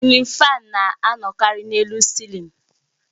Silin fáan na-anọkarị n'elu cilin